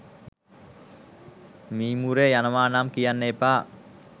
මීමුරේ යනවා නම් කියන්න එපා